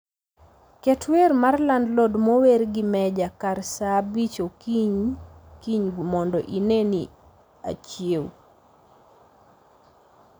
Ket wer mar landlord mower gi mejja kar saaa abich okiny kiny mondo ineni achiew